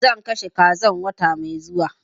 Zan kashe kazan wata mai zuwa